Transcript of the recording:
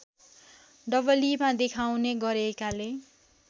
डबलीमा देखाउने गरेकाले